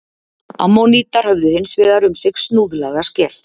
Ammonítar höfðu hins vegar um sig snúðlaga skel.